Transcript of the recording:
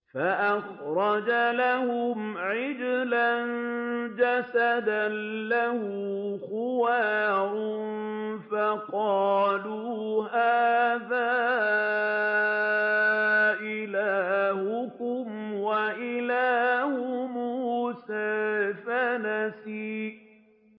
فَأَخْرَجَ لَهُمْ عِجْلًا جَسَدًا لَّهُ خُوَارٌ فَقَالُوا هَٰذَا إِلَٰهُكُمْ وَإِلَٰهُ مُوسَىٰ فَنَسِيَ